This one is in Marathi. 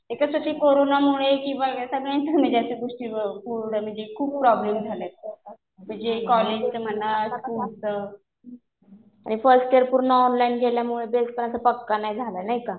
ते कसं कोरोनामुळे सगळ्यांचीच म्हणजे गोष्टी पूर्ण असं खूप प्रॉब्लेम झाले. म्हणजे कॉलेजचं म्हणा, स्कुलचं. आणि फर्स्ट ईयर पूर्ण ऑनलाईन गेल्यामुळे बेसपण आता पक्का नाही झाला. नाही का.